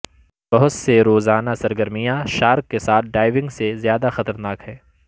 بہت سے روزانہ سرگرمیاں شارک کے ساتھ ڈائیونگ سے زیادہ خطرناک ہیں